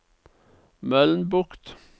Mølnbukt